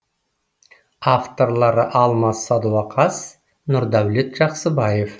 авторлары алмас садуақас нұрдәулет жақсыбаев